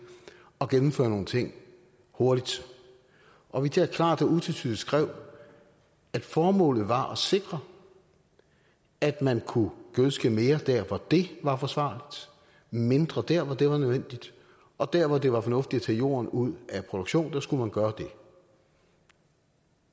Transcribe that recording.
at gennemføre nogle ting hurtigt og vi der klart og utvetydigt skrev at formålet var at sikre at man kunne gødske mere der hvor det var forsvarligt og mindre der hvor det var nødvendigt og dér hvor det var fornuftigt at tage jorden ud af produktionen skulle man gøre det